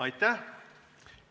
Aitäh!